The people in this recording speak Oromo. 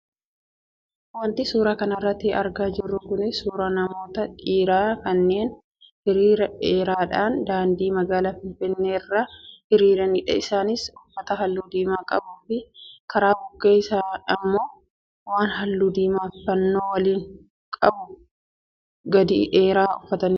Wanti suuraa kanarraa argaa jirru kun suuraa namoota dhiiraa kanneen hiriira dheeraadhaan daandii magaalaa finfinnee irratti hiriiranidha. Isaanis uffata halluu diimaa qabuu fi karaa bukkee immoo waan halluu diimaa fannoo waliin qabu gadi dheeraa uffatanidha.